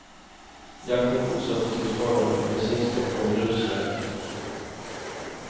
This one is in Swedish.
Jakten fortsatte tills föraren fick bensinstopp på en grusväg.